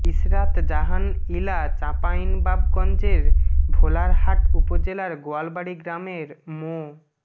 ইশরাত জাহান ইলা চাঁপাইনবাবগঞ্জের ভোলারহাট উপজেলার গোয়ালবাড়ি গ্রামের মো